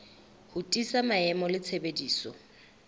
ho tiisa maemo le tshebediso